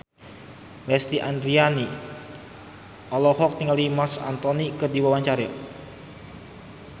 Lesti Andryani olohok ningali Marc Anthony keur diwawancara